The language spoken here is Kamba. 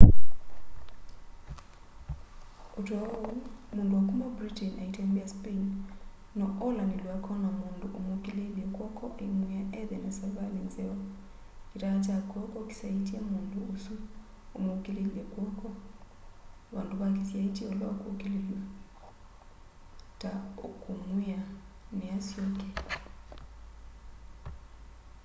o ta oũ mũndũ wa kũma britain aitembea spain no olanĩlw'e akona mũndũ ũmũkĩlĩlye kwoko aĩmwĩa ethe na savalĩ nzeo kitaa kya kw'oko kĩsyaĩtye mũndũ ũsũ ũmũkĩlĩlye kw'oko vandũ va kĩsyaĩtye ũla ũkũkĩlĩlw'a ta ũkũmwĩa nĩ asyoke